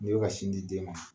N'i bɛ ka sin di den ma